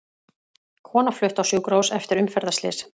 Kona flutt á sjúkrahús eftir umferðarslys